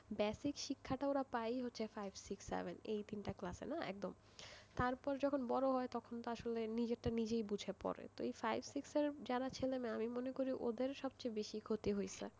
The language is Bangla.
basic শিক্ষাটা ওরা পায় five six seven এই তিনটি ক্লাসে না একদম, তারপরে যখন বড় হয় তখন আসলে নিজেরটাই নিজে বুঝে পড়ে,